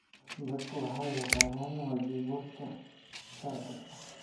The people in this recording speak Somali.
Dadku waxay yaqaaniin waajibaadkooda sharci.